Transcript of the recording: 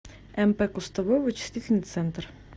мп кустовой вычислительный центр